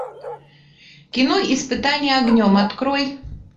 кино испытание огнем открой